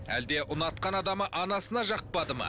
әлде ұнатқан адамы анасына жақпады ма